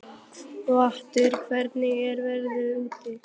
Geirhvatur, hvernig er veðrið úti?